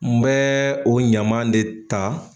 N bɛ o ɲaman de ta